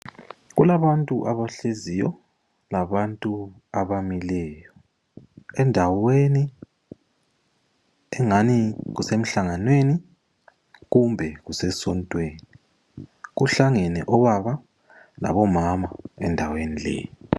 Kulabantu abahleziyo labantu abamileyo, endaweni engani kusemhlanganweni kumbe kuse nsontweni. Kuhlangene obaba labo mama endaweni leyi.